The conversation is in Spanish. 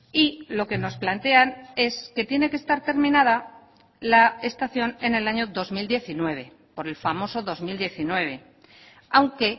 y lo que nos plantean es que tiene que estar terminada la estación en el año dos mil diecinueve por el famoso dos mil diecinueve aunque